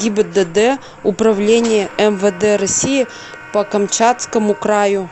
гибдд управления мвд россии по камчатскому краю